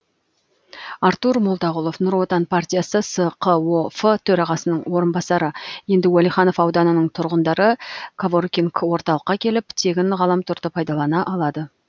артур молдағұлов нұр отан партиясы сқоф төрағасының орынбасары енді уәлиханов ауданының тұрғындары коворкинг орталыққа келіп тегін ғаламторды пайдалана алады